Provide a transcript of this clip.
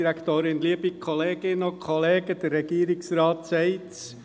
Der Regierungsrat sagt es.